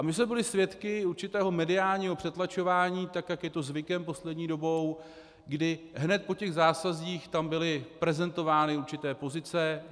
A my jsme byli svědky určitého mediálního přetlačování, tak jak je to zvykem poslední dobou, kdy hned po těch zásazích tam byly prezentovány určité pozice.